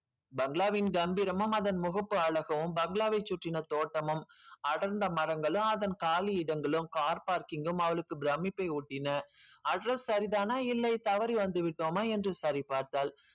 பங்களாவின் கம்பிரமும் அதன் முகப்பு அழகும் பங்களாவை சுற்றின தோட்டமும் அடர்ந்த மரங்களும் அதன் காலி இடங்களும் car parking உம் அவளுக்கு பிரமிப்பை ஊட்டின address சரிதானா இல்லை தவறி வந்துவிட்டோமா என்று சரி பார்த்தாள்